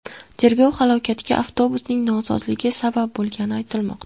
Tergov halokatga avtobusning nosozligi sabab bo‘lganini aytmoqda.